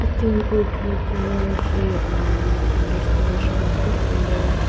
picture hipau ithulukela ishi umm understand shiluakeu hipau ye --